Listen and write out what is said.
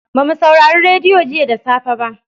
Ba mu saurari radiyo jiya da safe ba.